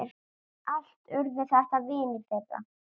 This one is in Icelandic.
Allt urðu þetta vinir þeirra.